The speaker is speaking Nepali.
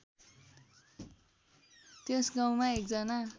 त्यस गाउँमा एकजना